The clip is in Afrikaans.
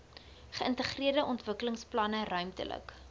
geïntegreerde ontwikkelingsplanne ruimtelike